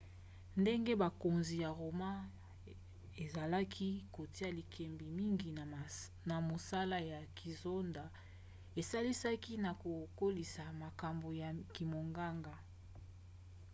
ndenge bokonzi ya roma ezalaki kotia likebi mingi na mosala ya kisoda esalisaki na kokolisa makambo ya kimonganga